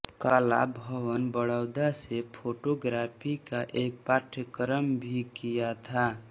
कला भवन बड़ौदा से फोटोग्राफी का एक पाठ्यक्रम भी किया था